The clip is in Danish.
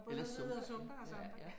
Eller zumba ja ja